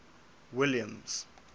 williams